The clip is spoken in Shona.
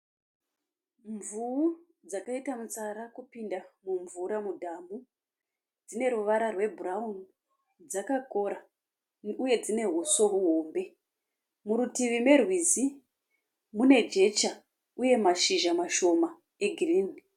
Mvuu dzakaita mutsara kupinda mumvura mudhamu. Dzine ruvara rwebhurauni. Dzakakora uye dzine uso uhombe. Murutivi merwizi mune jecha uye mashizha mashoma egirini.